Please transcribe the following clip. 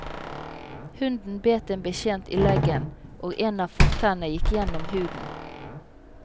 Hunden bet en betjent i leggen, og en av fortennene gikk gjennom huden.